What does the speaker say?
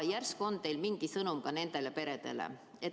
Järsku on teil mingi sõnum ka nendele peredele.